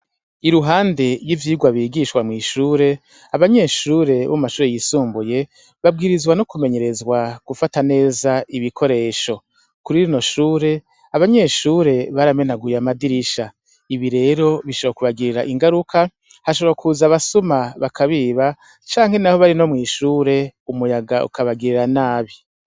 Iruhande y'ivyigwa bigishwa mw'ishure, abanyeshure bo mumashure yisumbuye babwirizwa no kumenyerezwa gufata neza ibikoresho, kuririno shure, abanyeshure baramenaguye amadirisha, ibi rero bishobora kubagirira ingaruka, hashobora kuza abasuma bakabiba canke nabo bari no mw'ishure umuyaga ukabagirira nabi.